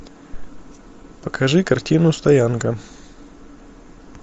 покажи картину стоянка